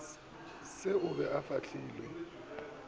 se o be o fahlele